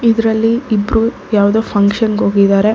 ಇದರಲ್ಲಿ ಇಬ್ಬರು ಯಾವ್ದೋ ಫಂಕ್ಷನ್ಗ್ ಹೋಗಿದ್ದಾರೆ ಹಾ--